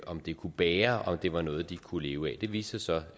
om det kunne bære og om det var noget de kunne leve af det viste sig